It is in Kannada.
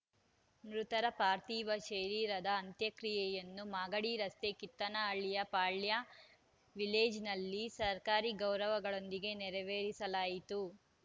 ಮೃತರ ಪಾರ್ಥಿವ ಶರೀರದ ಅಂತ್ಯಕ್ರಿಯೆಯನ್ನು ಮಾಗಡಿ ರಸ್ತೆಯ ಕಿತ್ತನಹಳ್ಳಿಯ ಪಾಳ್ಯ ವಿಲೇಜ್‌ನಲ್ಲಿ ಸರ್ಕಾರಿ ಗೌರವಗಳೊಂದಿಗೆ ನೆರವೇರಿಸಲಾಯಿತು